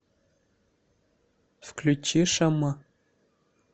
включи шама